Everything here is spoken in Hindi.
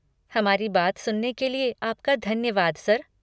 हमारी बात सुनने के लिए आपका धन्यवाद सर।